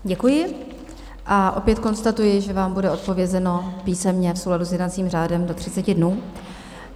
Děkuji a opět konstatuji, že vám bude odpovězeno písemně v souladu s jednacím řádem do 30 dnů.